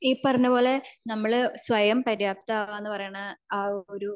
ഈ പറഞ്ഞപോലെ നമ്മൾ സ്വയം പര്യാപ്തമാവ എന്ന പറയണ അഹ് ഒരു